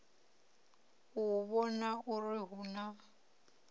u vhona uri hu na